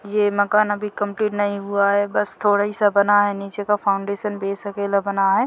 ये मकान अभी कम्पलीट नहीं हुआ है बस थोड़ा ही सा बना है नीचे का फाउंडेशन बेस अकेला बना है।